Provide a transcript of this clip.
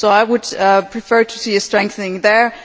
I would prefer to see a strengthening there.